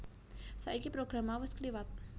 Saiki program mau wis kliwat